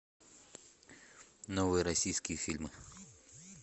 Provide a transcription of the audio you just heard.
новые российские фильмы